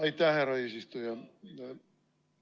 Aitäh, härra eesistuja!